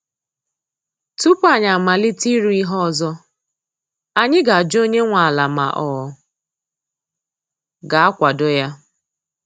Tupu anyi amalite ịrụ ihe ọzọ, anyị ga ajụ onye nwe ala ma ọ ga-akwado ya